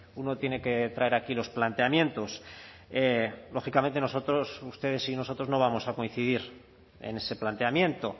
uno tiene que traer aquí los planteamientos lógicamente nosotros ustedes y nosotros no vamos a coincidir en ese planteamiento